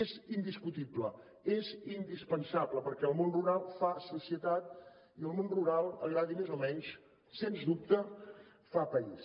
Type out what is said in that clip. és indiscutible és indispensable perquè el món rural fa societat i el món rural agradi més o menys sens dubte fa país